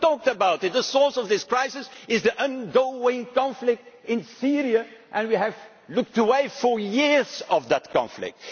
Nobody talked about it the source of this crisis is the ongoing conflict in Syria and we have looked away for years from that conflict.